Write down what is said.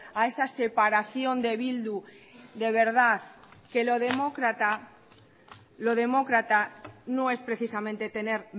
a esa separación de bildu de verdad que lo demócrata no es precisamente tener